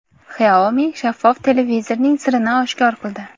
Xiaomi shaffof televizorining sirini oshkor qildi.